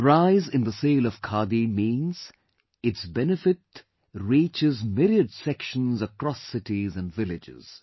The rise in the sale of Khadi means its benefit reaches myriad sections across cities and villages